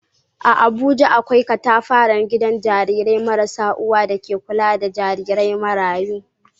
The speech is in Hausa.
A Abuja, akwai katafaren gidan jarirai marasa uwa da ke kula da jarirai marayu.